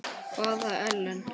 Hvaða Ellen?